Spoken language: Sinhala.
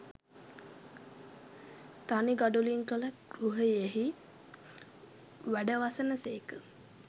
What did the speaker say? තනි ගඩොලින් කළ ගෘහයෙහි වැඩවසන සේක